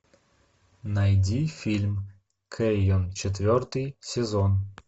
найди фильм кэйон четвертый сезон